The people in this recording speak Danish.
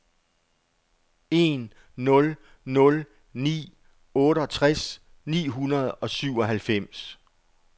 en nul nul ni otteogtres ni hundrede og syvoghalvfems